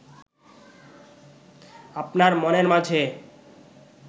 আপনার মনের মাঝে